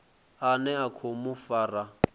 ane a khou mu fara